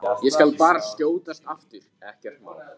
Ég skal bara skjótast aftur, ekkert mál!